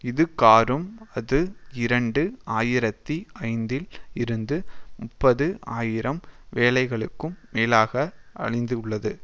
இதுகாறும் அது இரண்டு ஆயிரத்தி ஐந்தில் இருந்து முப்பது ஆயிரம் வேலைகளுக்கும் மேலாக அழிந்துள்ளது